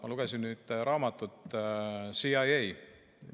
Ma lugesin ühte raamatut CIA-st.